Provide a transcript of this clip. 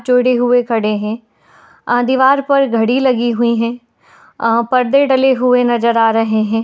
जुड़े हुए खड़े हैं | अ दीवार पर घड़ी लगीं हुई है| अ परदे डले हुए नजर आ रहे हैं।